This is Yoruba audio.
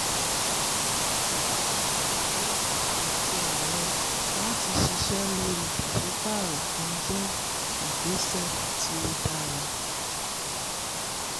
ó sọ pé ète ààrẹ láti ṣiṣẹ́ lórí pàsípàrọ̀ kan jẹ́ ìgbésẹ̀ tí ó dára.